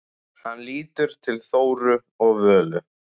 Hann lítur til Þóru og Völu.